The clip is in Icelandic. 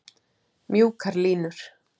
Mjúkar línur.